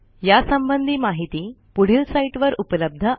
यासंबंधी माहिती पुढील साईटवर उपलब्ध आहे